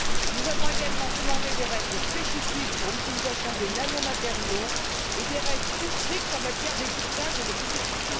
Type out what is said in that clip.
Nous avons également demandé des règles spécifiques pour l'utilisation des nanomatériaux et des règles plus strictes en matière d'étiquetage et de publicité.